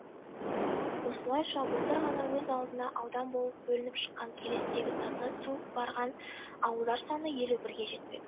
осылайша былтыр ғана өз алдына аудан болып бөлініп шыққан келестегі таза су барған ауылдар саны елу бірге жетпек